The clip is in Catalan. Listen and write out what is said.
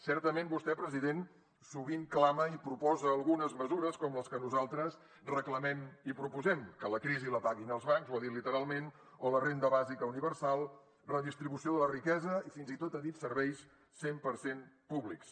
certament vostè president sovint clama i proposa algunes mesures com les que nosaltres reclamem i proposem que la crisi la paguin els bancs ho ha dit literalment o la renda bàsica universal redistribució de la riquesa i fins i tot ha dit serveis cent per cent públics